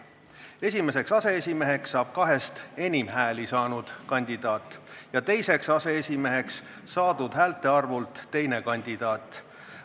Esimeseks aseesimeheks saab kahest enim hääli saanud kandidaat ja teiseks aseesimeheks saadud häälte arvult teine kandidaat.